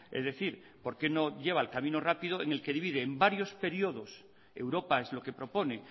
es decir por qué no lleva el camino rápido en el que divide en varios periodos europa es lo que propone